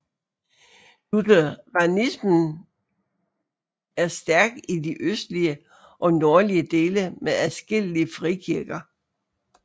Lutheranism er stærk i de østlige og nordlige dele med adskillige frikirker